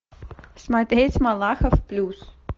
смотреть малахов плюс